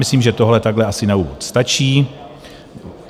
Myslím, že tohle takhle asi na úvod stačí.